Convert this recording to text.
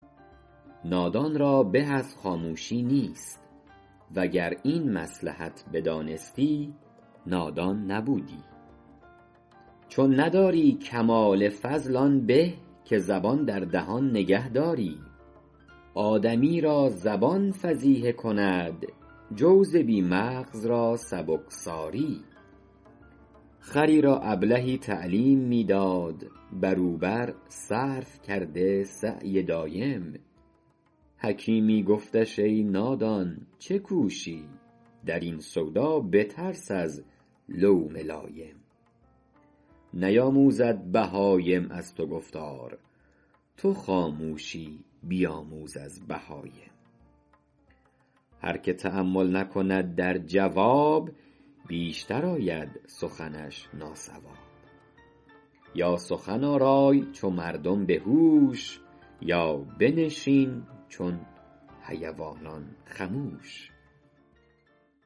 نادان را به از خاموشی نیست وگر این مصلحت بدانستی نادان نبودی چون نداری کمال فضل آن به که زبان در دهان نگه داری آدمی را زبان فضیحه کند جوز بی مغز را سبکساری خری را ابلهی تعلیم می داد بر او بر صرف کرده سعی دایم حکیمی گفتش ای نادان چه کوشی در این سودا بترس از لوم لایم نیاموزد بهایم از تو گفتار تو خاموشی بیاموز از بهایم هر که تأمل نکند در جواب بیشتر آید سخنش ناصواب یا سخن آرای چو مردم به هوش یا بنشین چون حیوانان خموش